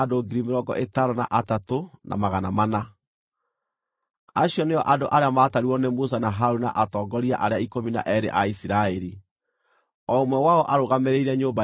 Acio nĩo andũ arĩa maatarirwo nĩ Musa na Harũni na atongoria arĩa ikũmi na eerĩ a Isiraeli, o ũmwe wao arũgamĩrĩire nyũmba yake.